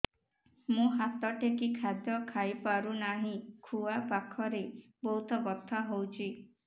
ମୁ ହାତ ଟେକି ଖାଦ୍ୟ ଖାଇପାରୁନାହିଁ ଖୁଆ ପାଖରେ ବହୁତ ବଥା ହଉଚି